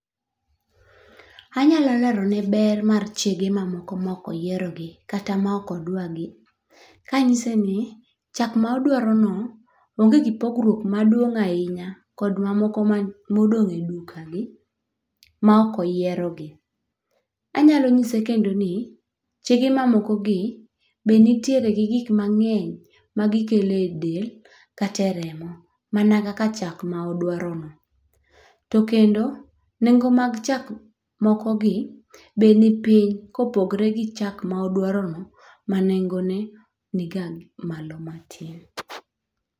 Anyalo lero ne ber mag chege moko mok oyierogi kata mok odwagi kanyise ni: chak modwaro no onge gi pogruok maduong' ahinya kod mamoko modong' e duka gi ma ok oyiero gi. Anyalo nyise kendo ni chege mamoko gi be nitiere gi gik mang'eny ma gikele del kata e remo mana kaka chak ma odwaro no. To kendo nengo mag chak moko gi be ni piny kopogre gi chak ma odwaro no ma nengo ne niga malo matin.